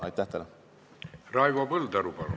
Raivo Põldaru, palun!